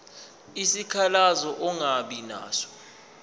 isikhalazo ongaba naso